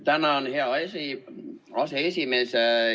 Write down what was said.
Tänan, hea aseesimees!